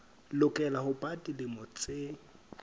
lokela ho ba dilemo tse